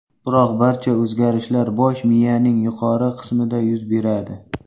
Biroq barcha o‘zgarishlar bosh miyaning yuqori qismida yuz beradi.